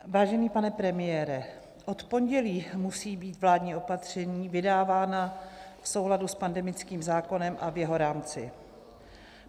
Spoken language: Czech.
Vážený pane premiére, od pondělí musí být vládní opatření vydávána v souladu s pandemickým zákonem a v jeho rámci.